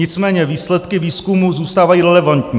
Nicméně výsledky výzkumu zůstávají relevantní.